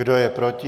Kdo je proti?